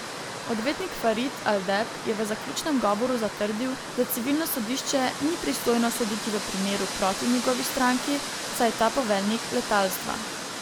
Odvetnik Farid al Deb je v zaključnem govoru zatrdil, da civilno sodišče ni pristojno soditi v primeru proti njegovi stranki, saj je ta poveljnik letalstva.